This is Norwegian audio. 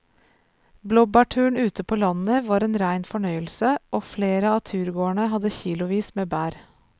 Blåbærturen ute på landet var en rein fornøyelse og flere av turgåerene hadde kilosvis med bær.